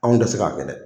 Anw tɛ se k'a kɛ dɛ